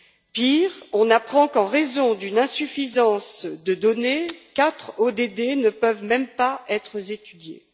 Pire, on apprend qu'en raison d'une insuffisance de données, quatre ODD ne peuvent même pas être étudiés.